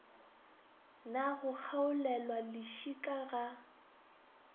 na go kgaolelwa lešika ga